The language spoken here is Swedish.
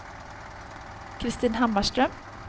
Kristin Hammarström